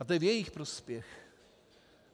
A to je v jejich prospěch.